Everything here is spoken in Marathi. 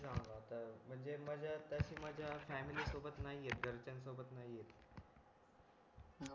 म्हणजे मजा तशी मजा फॅमिली सोबत नई येत घरच्यांन सोबत नई येत